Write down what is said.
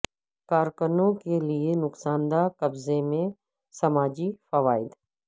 کارکنوں کے لئے نقصان دہ قبضے میں سماجی فوائد